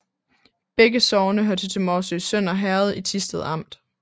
Begge sogne hørte til Morsø Sønder Herred i Thisted Amt